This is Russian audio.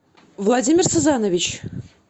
владимир сазанович